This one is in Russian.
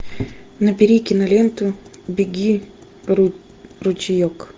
набери киноленту беги ручеек